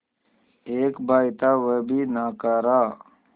एक भाई था वह भी नाकारा